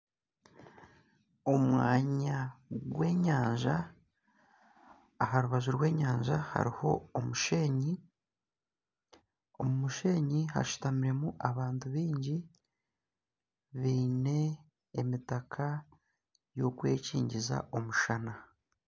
Omwanya gw'enyanja aha rubaju rw'enyanja hariho omushenyi, omu mushenyi hashutamiremu abantu baingi baine emitaka y'okwekyingiza omushana.